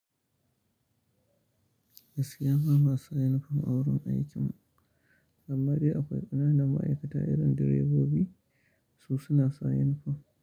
Gaskiya ba ma sa yunifom a wurin aikin, amma dai akwai ƙananan ma'aikata irin direbobi su suna sa yunifom.